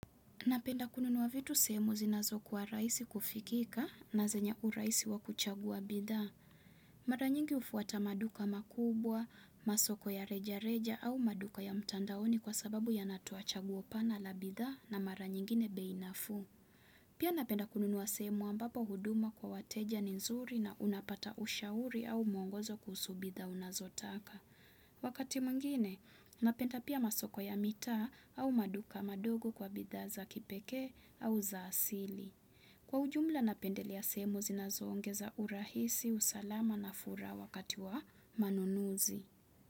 Napenda kununuwa vitu sehemu zinazo kwa rahisi kufikika na zenya urahisi wa kuchagua bidhaa. Mara nyingi ufuata maduka makubwa, masoko ya reja reja au maduka ya mtandaoni kwa sababu ya natuachaguo pana la bidhaa na mara nyingine bei nafuu. Pia napenda kununuwa semu ambapo huduma kwa wateja ni nzuri na unapata ushauri au mongozo kuhusu bidhaa unazo taka. Wakati mwingine, napenda pia masoko ya mitaa au maduka madogo kwa bidhaa za kipeke au za asili. Kwa ujumla napendelea sehemu zinazongeza urahisi, usalama na fuhara wakati wa manunuzi.